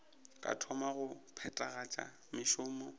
ka thoma go phethagatša mešomo